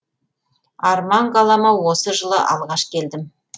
арман қалама осы жылы алғаш келдім